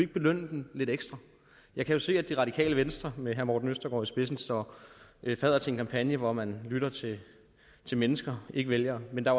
belønne dem lidt ekstra jeg kan se at det radikale venstre med herre morten østergaard i spidsen står fadder til en kampagne hvor man lytter til til mennesker ikke vælgere men der